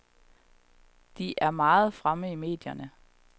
De er meget fremme i medierne.